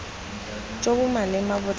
jo bo maleba bo tla